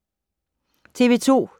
TV 2